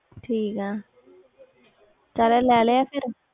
ਠੀਕ ਹੈ ਫਿਰ ਲੈ ਲਿਆ